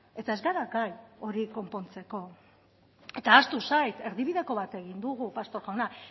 eta ez gara gai hori konpontzeko eta ahaztu zait erdibideko bat egin dugu pastor jauna